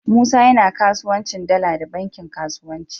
Musa yAna kasuwancin dala da bankin kasuwanci